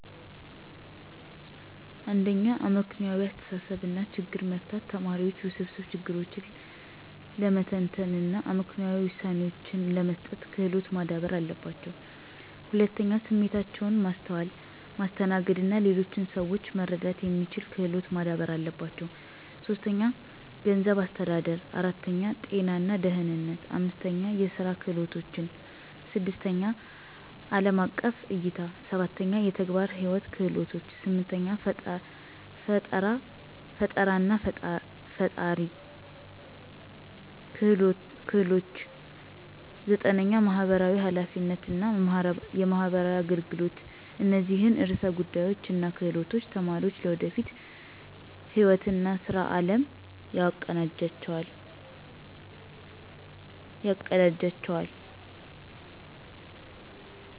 1. አመክንዮአዊ አስተሳሰብ እና ችግር መፍታት ተማሪዎች ውስብስብ ችግሮችን ለመተንተን እና አመክንዮአዊ ውሳኔዎችን ለመስጠት ክሎት ማዳበር አለባቸው። 2. ስሜታቸውን ማስተዋል፣ ማስተናገድ እና ሌሎችን ሰዎች መረዳት የሚስችል ክሎት ማዳበር አለባቸው። 3. ገንዘብ አስተዳደር 4. ጤና እና ደህነነት 5. የስራ ክህሎቶችን 6. አለም አቀፍ እይታ 7. የተግባር ህይዎት ክህሎቶች 8. ፈጠራናፈጠራ ክህሎች 9. የማህበራዊ ሐላፊነት እና የማህበራዊ አገልገሎት እነዚህን ዕርሰ ጉዳዮች እና ክህሎቶች ተማሪዎች ለወደፊት ህይዎት እና ስራ አለም ያቀዳጅላቸዋል።